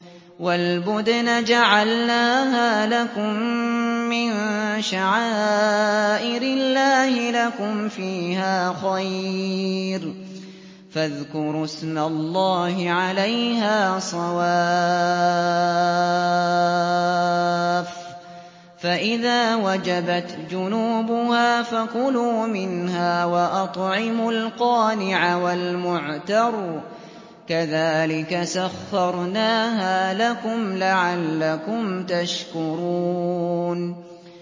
وَالْبُدْنَ جَعَلْنَاهَا لَكُم مِّن شَعَائِرِ اللَّهِ لَكُمْ فِيهَا خَيْرٌ ۖ فَاذْكُرُوا اسْمَ اللَّهِ عَلَيْهَا صَوَافَّ ۖ فَإِذَا وَجَبَتْ جُنُوبُهَا فَكُلُوا مِنْهَا وَأَطْعِمُوا الْقَانِعَ وَالْمُعْتَرَّ ۚ كَذَٰلِكَ سَخَّرْنَاهَا لَكُمْ لَعَلَّكُمْ تَشْكُرُونَ